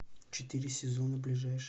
четыре сезона ближайший